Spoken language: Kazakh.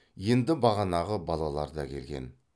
енді бағанағы балалар да келген